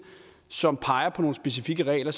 som peger på nogle specifikke regler